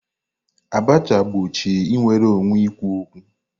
Abacha gbochie nnwere onwe ikwu okwu.